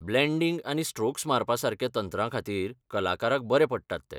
Blending आनी strokes मारपासारक्या तंत्रांखातीर कलाकाराक बरे पडटात ते.